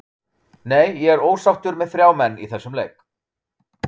Nei, ég er ósáttur með þrjá menn í þessum leik.